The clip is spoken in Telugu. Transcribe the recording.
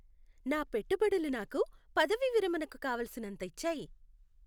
నా పెట్టుబడులు నాకు పదవీ విరమణకు కావలసినంత ఇచ్చాయి.